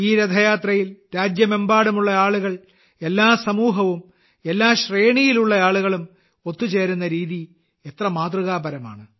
ഈ രഥയാത്രകളിൽ രാജ്യമെമ്പാടുമുള്ള ആളുകൾ എല്ലാ സമൂഹവും എല്ലാ ശ്രേണിയിലുള്ളവരും ഒത്തുചേരുന്ന രീതി തന്നെ മാതൃകാപരമാണ്